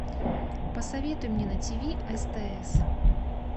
посоветуй мне на тв стс